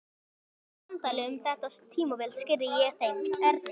Í löngu samtali um þetta tímabil skýrði ég þeim Erni